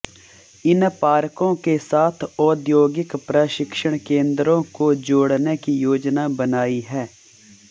इन पार्कों के साथ औद्योगिक प्रशिक्षण केंद्रों को जोड़ने की योजना बनाई है